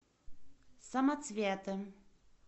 самоцветы